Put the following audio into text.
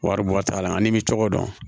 Wari bɔ t'a la ani i bɛ cogo dɔn